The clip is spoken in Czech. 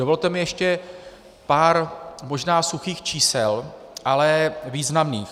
Dovolte mi ještě pár možná suchých čísel, ale významných.